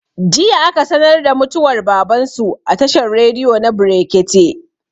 jiya aka sanar da mutuwar baban su a tashar rediyo na brekete